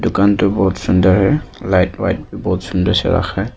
Counter बहुत सुन्दर है लाइट वाइट बहोत सुन्दर से रखा है।